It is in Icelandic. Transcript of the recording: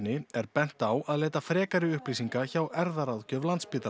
er bent á að leita frekari upplýsinga hjá erfðaráðgjöf